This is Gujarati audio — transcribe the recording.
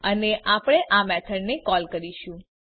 અને આપણે આ મેથડને કોલ કરીશું